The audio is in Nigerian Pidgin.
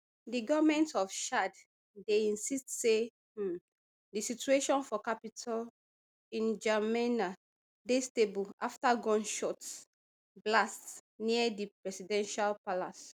di goment of chad dey insist say um di situation for capitol ndjamena dey stable afta gunshots blast near di presidential palace